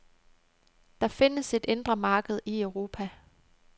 Der findes et indre marked i Europa.